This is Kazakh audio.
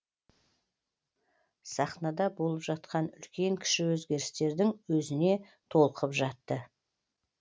сахнада болып жатқан үлкен кіші өзгерістердің өзіне толқып жатты